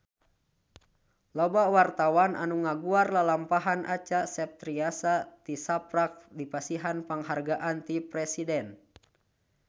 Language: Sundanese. Loba wartawan anu ngaguar lalampahan Acha Septriasa tisaprak dipasihan panghargaan ti Presiden